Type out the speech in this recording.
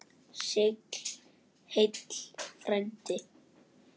Sigl heill frændi.